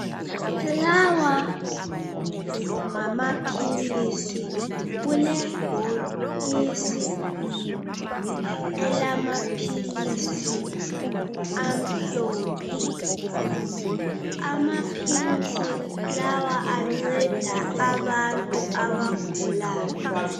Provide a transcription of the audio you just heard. Lawa ngamaphilisi, kulebhokisi. Elamaphilisi amhlophe, amaphilisi lawa anceda abantu abagulayo.